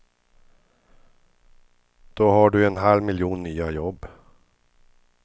Då har du en halv miljon nya jobb.